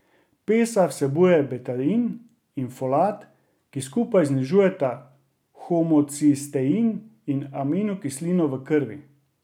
Pesa vsebuje betain in folat, ki skupaj znižujeta homocistein, aminokislino v krvi.